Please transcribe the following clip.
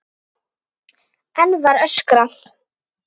Enn var öskrað.